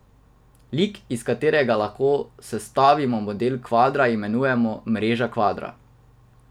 Lik, iz katerega lahko sestavimo model kvadra, imenujemo mreža kvadra.